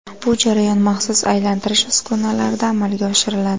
Bu jarayon maxsus aylantirish uskunalarida amalga oshiriladi.